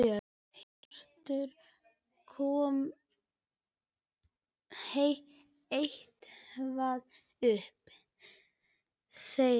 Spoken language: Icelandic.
Hjörtur: Kom eitthvað upp þar?